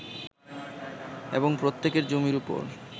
এবং প্রত্যেকের জমির ওপর